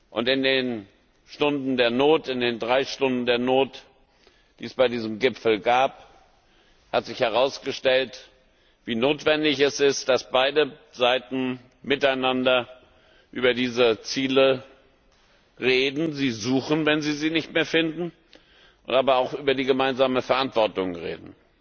Und in den Stunden der Not, in den drei Stunden der Not, die es bei diesem Gipfel gab, hat sich herausgestellt, wie notwendig es ist, dass beide Seite miteinander über diese Ziele reden, sie suchen, wenn sie sie nicht mehr finden, aber auch über die gemeinsame Verantwortung reden.